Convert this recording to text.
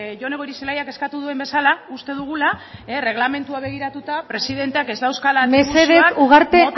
jone goirizelaiak eskatu duen bezala uste dugula erreglamendua begiratuta presidenteak ez dauzkala mota honetako zentzurak mesedez ugarte